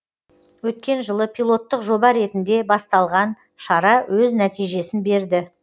өткен жылы пилоттық жоба ретінде басталған шара өз нәтижесін берді